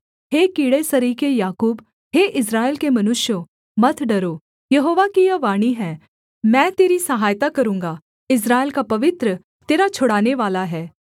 हे कीड़े सरीखे याकूब हे इस्राएल के मनुष्यों मत डरो यहोवा की यह वाणी है मैं तेरी सहायता करूँगा इस्राएल का पवित्र तेरा छुड़ानेवाला है